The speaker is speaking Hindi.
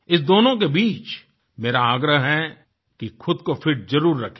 इस दोनों के बीच मेरा आग्रह है कि खुद को फिट जरूर रखें